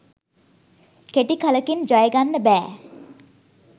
කෙටි කලකින් ජය ගන්න බෑ.